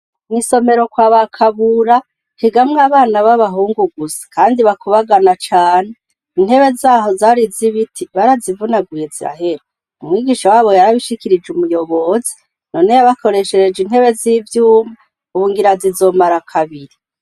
Mw'isomero kwaba Kabura, higamwo abana b'abahungu gusa kandi bakubagana cane. Intebe zaho zari z'ibiti barazivunaguye zirahera, umwigisha w'abo yarabishikirije umuyobozi, none yabakoreshereje intebe z'ivyuma ubu ngira zizomara kabiri.